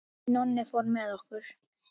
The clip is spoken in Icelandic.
Nonni fór með okkur.